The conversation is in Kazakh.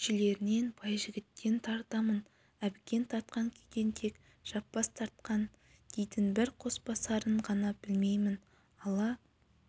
күйшілерінен байжігіттен тартамын әбікен тартқан күйден тек жаппас тартқан дейтін бір қосбасарын ғана білмеймін ала